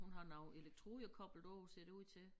Hun har nogle elektroder koblet på ser det ud til